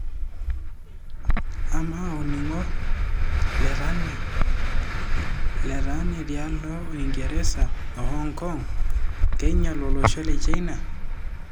Ama olningo lentani tialo Uingereza o Hongokong keinyal oloshi le China?